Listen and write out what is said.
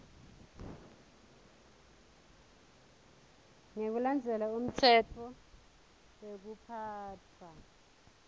ngekulandzela umtsetfo wekuphatfwa